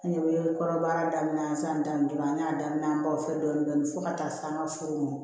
An ne bɛ kɔrɔbɔrɔ daminɛ san daminɛ dɔrɔn an y'a daminɛ an b'aw fɛ dɔɔnin dɔɔnin fo ka taa se an ka foro mɔ